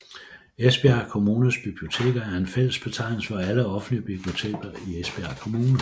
Esbjerg Kommunes Biblioteker er en fælles betegnelse for alle offentlige biblioteker i Esbjerg Kommune